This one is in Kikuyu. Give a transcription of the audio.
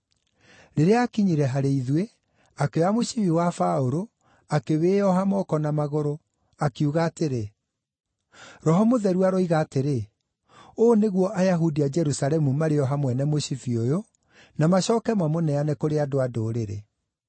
Rĩrĩa aakinyire harĩ ithuĩ, akĩoya mũcibi wa Paũlũ, akĩwĩĩoha moko na magũrũ, akiuga atĩrĩ, “Roho Mũtheru aroiga atĩrĩ, ‘Ũũ nĩguo Ayahudi a Jerusalemu marĩoha mwene mũcibi ũyũ, na macooke mamũneane kũrĩ andũ-a-Ndũrĩrĩ.’ ”